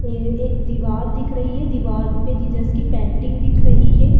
ये एक दिवार दिख रही है दिवार पे जीसस की पेंटिंग दिख रही है।